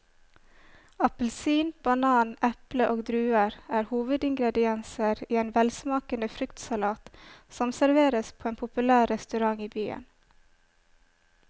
Appelsin, banan, eple og druer er hovedingredienser i en velsmakende fruktsalat som serveres på en populær restaurant i byen.